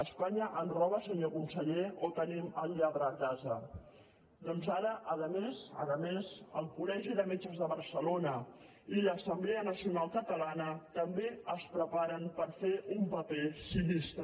espanya ens roba senyor conseller o tenim el lladre a casa doncs ara a més a més el col·legi de metges de barcelona i l’assemblea nacional catalana també es preparen per fer un paper sinistre